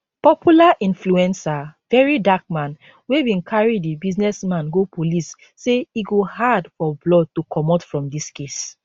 popular influencer verydarkman wey bin carry di businessman go police say e go hard for blord to comot from dis case